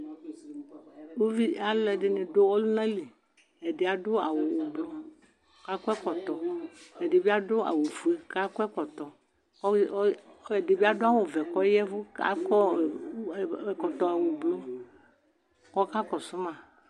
Alʋ ɛdini dʋ ɔlʋna li ɛdi adʋ awʋ ʋblɔ kʋ akɔ ɛkɔtɔ ɛdibi adʋ awʋfue kʋ akɔ ɛkɔtɔ kʋ ɛdibi adʋ awʋvɛ kʋ aya ɛvʋ akɔ ɛkɔtɔ blu kʋ ɔka kɔsʋma